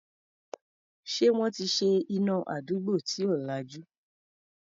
Ṣé wọ́n ti ṣe iná àdúgbò tí ò lajú?